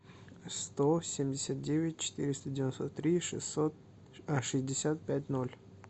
сто семьдесят девять четыреста девяносто три шестьсот шестьдесят пять ноль